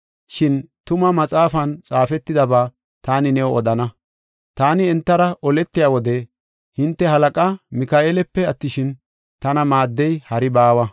Shin Tuma Maxaafan xaafetidaba taani new odana. Taani entara oletiya wode, hinte halaqaa Mika7eelape attishin, tana maaddiya hari baawa.”